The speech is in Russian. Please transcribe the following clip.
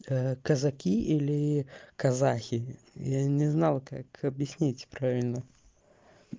казаки или казахи я не знал как объяснить правильно